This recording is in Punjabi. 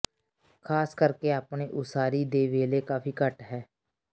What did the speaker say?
ਖਾਸ ਕਰਕੇ ਆਪਣੇ ਉਸਾਰੀ ਦੇ ਵੇਲੇ ਕਾਫ਼ੀ ਘੱਟ ਹੈ